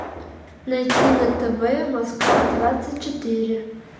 найти на тв москва двадцать четыре